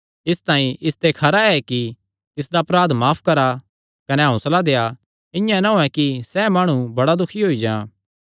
इसतांई इसते खरा एह़ ऐ कि तिसदा अपराध माफ करा कने हौंसला देआ इआं ना होयैं कि सैह़ माणु बड़ा दुखी होई जां